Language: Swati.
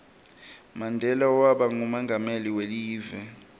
mandela waba ngumonqameli welive